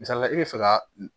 Misali la i bɛ fɛ ka